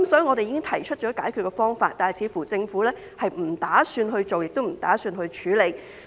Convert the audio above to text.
我們已經提出解決方法，但政府似乎並不打算去做，亦不打算處理。